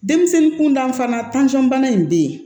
Denmisɛnnin kuntan fana bana in bɛ yen